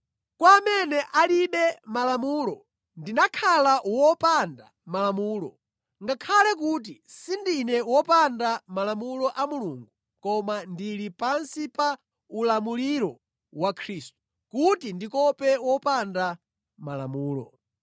Kwa amene alibe Malamulo ndimakhala wopanda Malamulo (ngakhale kuti sindine wopanda Malamulo a Mulungu koma ndili pansi pa ulamuliro wa Khristu) kuti ndikope wopanda Malamulo.